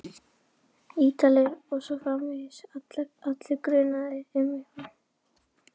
Ítalir. og svo framvegis, allir grunaðir um eitthvað.